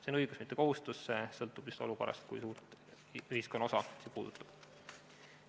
See on õigus, mitte kohustus, see sõltub olukorrast, sellest, kui suurt ühiskonnaosa see puudutab.